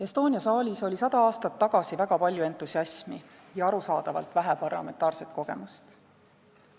Estonia saalis oli sada aastat tagasi väga palju entusiasmi ja arusaadavalt vähe parlamentaarset kogemust.